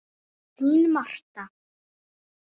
Þín Marta.